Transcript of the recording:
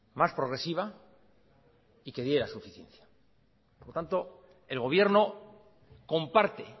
más progresiva y que diera suficiencia por lo tanto el gobierno comparte